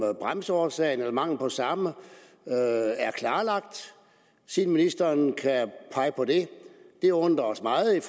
bremseårsagen eller mangel på samme er klarlagt siden ministeren kan pege på det vi undrer os meget i